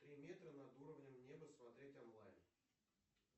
три метра над уровнем неба смотреть онлайн